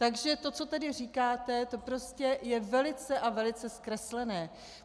Takže to, co tedy říkáte, to prostě je velice a velice zkreslené.